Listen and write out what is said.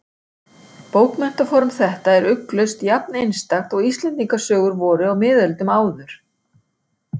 Bókmenntaform þetta er ugglaust jafn-einstakt og Íslendingasögur voru á miðöldum áður.